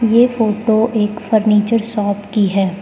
ये फोटो एक furniture shop की है।